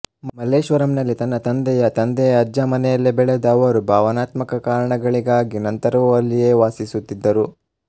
ಮಲ್ಲೇಶ್ವರಂನಲ್ಲಿ ತನ್ನ ತಂದೆಯ ತಂದೆಯ ಅಜ್ಜ ಮನೆಯಲ್ಲಿ ಬೆಳೆದ ಅವರು ಭಾವನಾತ್ಮಕ ಕಾರಣಗಳಿಗಾಗಿ ನಂತರವೂ ಅಲ್ಲಿಯೇ ವಾಸಿಸುತ್ತಿದ್ದರು